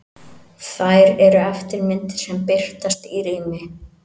Þær eru eftirmyndir sem birtast í rými.